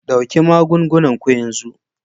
Ɗauki magungunan ku yanzu!